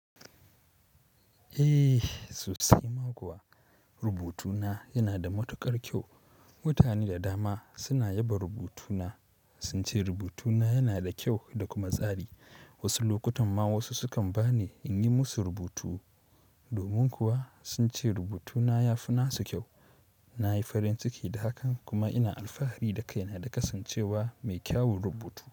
Eh, sosai ma kuwa. Rubutuna yana da matuƙar kyau. Mutane da dama suna yaba rubutuna. Sun ce rubutuna yana da kyau da kuma tsari. Wasu lokutan ma wasu sukan ba ni in yi musu rubutu. Domin kuwa sun ce rubutuna ya fi nasu kyau. Na yi farin ciki da hakan kuma ina alfahari da kaina da kasancewa mai kyawun rubutu.